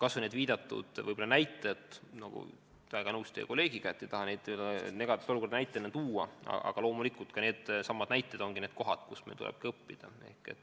Kas või see viidatud näide – olen väga nõus teie kolleegiga, et ei tahaks neid negatiivseid olukordi näiteks tuua, aga loomulikult needsamad juhtumid ongi need, mille järgi meil tuleb õppida.